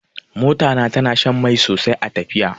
Mota na tana shan mai sosai a tafiya.